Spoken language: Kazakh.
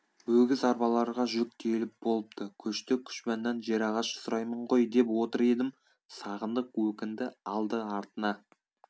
өгіз арбаларға жүк тиеліп болыпты көшті күжбаннан жерағаш сұраймын ғой деп отыр едім сағындық өкінді алды-артына